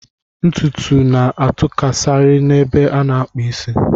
Ntutu na-atụkasikari n'ebe a na-akpụ isi.